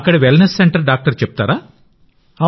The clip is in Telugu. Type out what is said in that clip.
అక్కడి వెల్నెస్ సెంటర్ డాక్టర్ చెప్తారా